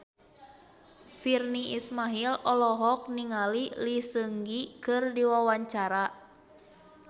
Virnie Ismail olohok ningali Lee Seung Gi keur diwawancara